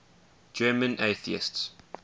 german atheists